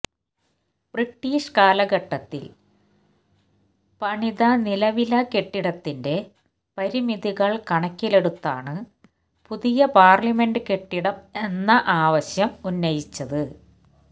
British കാലഘട്ടത്തില് പണിത നിലവിലെ കെട്ടിടത്തിന്റെ പരിമിതികള് കണക്കിലെടുത്താണ് പുതിയ പാര്ലമെന്റ് കെട്ടിടം എന്ന ആവശ്യം ഉന്നയിച്ചത്